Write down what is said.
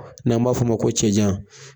N'an b'a f'o ma ko cɛ jan.